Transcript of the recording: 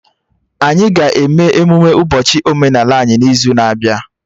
Anyị ga-eme emụme ụbọchị omenaala anyị n'izu na-abịa